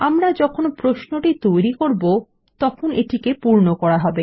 আমরা যখন প্রশ্নটি তৈরী করব তখন এটিকে পূর্ণ করা হবে